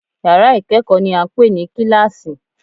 Yàrá ìkẹ́kọ̀ọ́ ni à ń pè ní kíláàsì